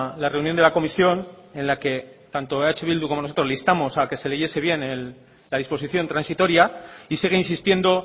la reunión de la comisión en la que tanto eh bildu como nosotros le instamos a que se leyese bien la disposición transitoria y sigue insistiendo